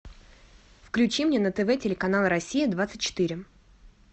включи мне на тв телеканал россия двадцать четыре